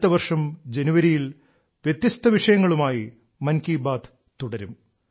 അടുത്ത വർഷം ജനുവരിയിൽ വ്യത്യസ്ത വിഷയങ്ങളുമായി മൻ കി ബാത്ത് തുടരും